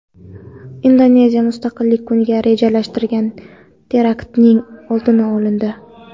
Indoneziyada Mustaqillik kuniga rejalashtirilgan teraktning oldi olindi.